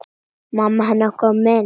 Mamma hennar komin.